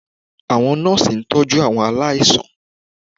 Àwọn nọ́ọ̀sì ń tọ́jú àwọn aláìsàn